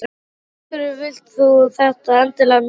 Af hverju vilt þú þetta endilega núna?